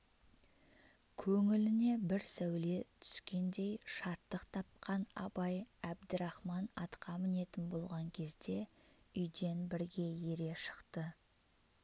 көңіліне бір сәуле түскендей шаттық тапқан абай әбдірахман атқа мінетін болған кезде үйден бірге ере шықты